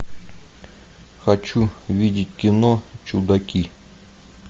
хочу видеть кино чудаки